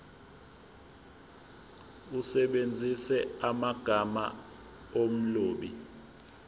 usebenzise amagama omlobi